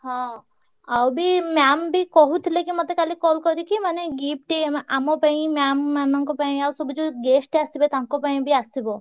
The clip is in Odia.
ହଁ ଆଉ ବି ma'am ବି କହୁଥିଲେ କି ମତେ କାଲି call କରିକି ମାନେ gift ଆମେ ଆମ ପାଇଁ ma'am ମାନଙ୍କ ପାଇଁ ଆଉ ସବୁ ଯୋଉ guest ଆସିବେ ତାଙ୍କ ପାଇଁ ବି ଆସିବ।